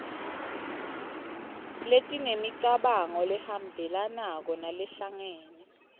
letinemicabango lehambelanako nalehlangene